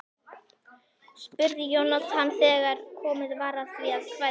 spurði Jónatan þegar komið var að því að kveðja.